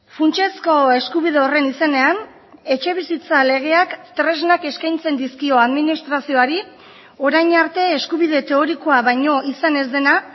funtsezko eskubide horren izenean etxebizitza legeak tresnak eskaintzen dizkio administrazioari orain arte eskubide teorikoa baino izan ez dena